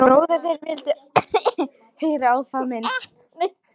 En bróðir þinn vildi ekki heyra á það minnst.